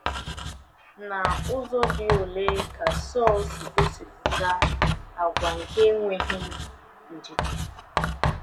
N’ụzọ dị ole ka Sọl si gosipụta àgwà nke enweghị ndidi?